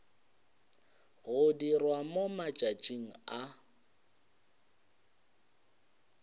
go dirwa mo matšatšing a